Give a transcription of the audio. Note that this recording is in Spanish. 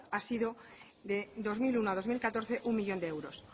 ha sido del dos mil uno al dos mil catorce uno millón de euros